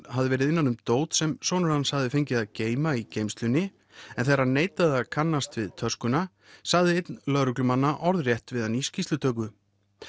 hafði verið innan um dót sem sonur hans hafði fengið að geyma í geymslunni en þegar hann neitaði að kannast við töskuna sagði einn lögreglumanna orðrétt við hann í skýrslutöku